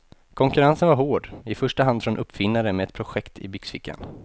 Konkurrensen var hård, i första hand från uppfinnare med ett projekt i byxfickan.